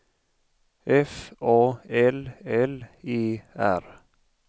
F A L L E R